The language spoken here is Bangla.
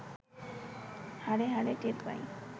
হাড়ে হাড়ে টের পাই